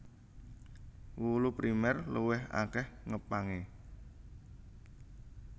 Wulu Primèr luwih akèh ngepangé